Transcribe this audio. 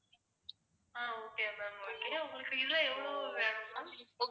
ஆஹ் okay ma'am உங்களுக்கு இதுல எவ்ளோ வேணும் ma'am